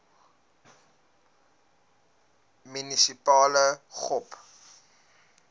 munisipale gop